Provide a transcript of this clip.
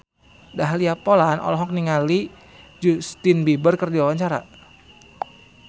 Dahlia Poland olohok ningali Justin Beiber keur diwawancara